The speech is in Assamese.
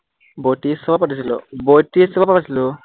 বত্ৰিশৰ পৰা পাতিছিলো, বত্ৰিশৰ পৰা পাতিছিলো